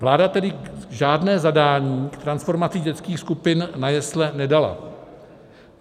Vláda tedy žádné zadání k transformaci dětských skupin na jesle nedala.